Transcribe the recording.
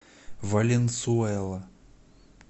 валенсуэла